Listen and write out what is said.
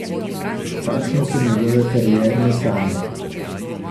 Kakšne so njegove karierne sanje?